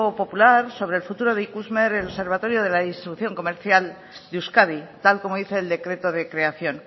popular sobre el futuro de ikusmer el observatorio de la distribución comercial de euskadi tal como dice el decreto de creación